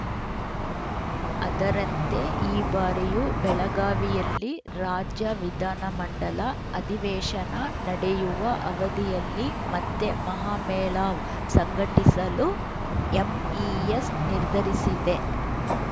ಅದರಂತೆ ಈ ಬಾರಿಯೂ ಬೆಳಗಾವಿಯಲ್ಲಿ ರಾಜ್ಯ ವಿಧಾನ ಮಂಡಲ ಅಧಿವೇಶನ ನಡೆಯುವ ಅವಧಿಯಲ್ಲಿ ಮತ್ತೆ ಮಹಾಮೇಳಾವ್‌ ಸಂಘಟಿಸಲು ಎಂಇಎಸ್‌ ನಿರ್ಧರಿಸಿದೆ